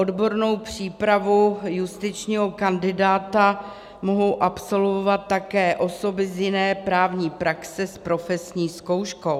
Odbornou přípravu justičního kandidáta mohou absolvovat také osoby z jiné právní praxe s profesní zkouškou.